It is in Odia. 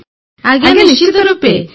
ସମବେତ ସ୍ୱରରେ ଆଜ୍ଞା ନିଶ୍ଚିତ ରୂପେ